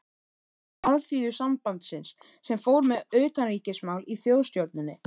Alþýðusambandsins, sem fór með utanríkismál í Þjóðstjórninni.